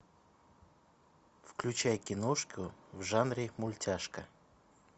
включай киношку в жанре мультяшка